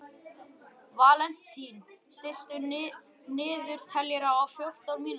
Valentín, stilltu niðurteljara á fjórtán mínútur.